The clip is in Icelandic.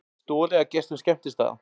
Stolið af gestum skemmtistaða